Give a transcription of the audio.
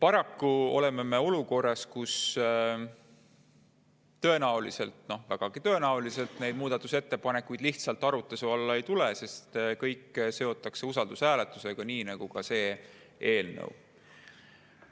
Paraku oleme me olukorras, kus tõenäoliselt, vägagi tõenäoliselt need muudatusettepanekud arutluse alla lihtsalt ei tule, sest kõik seotakse usaldushääletusega, nii nagu ka see eelnõu.